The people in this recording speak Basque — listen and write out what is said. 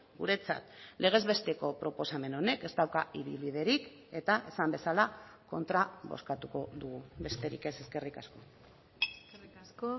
guretzat legez besteko proposamen honek ez dauka ibilbiderik eta esan bezala kontra bozkatuko dugu besterik ez eskerrik asko eskerrik asko